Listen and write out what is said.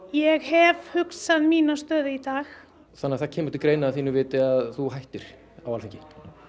ég hef hugsað mína stöðu í dag þannig að það kemur til greina að þínu viti að hætta á Alþingi